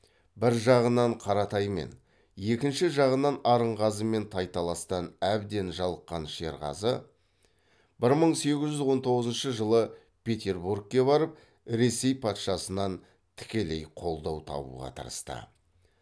бір жағынан қаратаймен екінші жағынан арынғазымен тайталастан әбден жалыққан шерғазы бір мың сегіз жүз он тоғызыншы жылы петербургке барып ресей патшасынан тікелей қолдау табуға тырысты